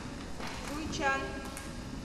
жуйчан